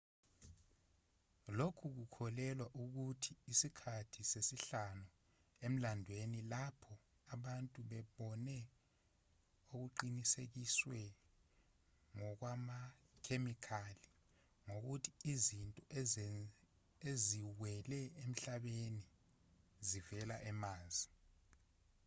lokhu kukholelwa ukuthi isikhathi sesihlanu emlandweni lapho abantu bebone okuqinisekiswe ngokwamakhemikhali ngokuthi izinto eziwele emhlabeni zivela emars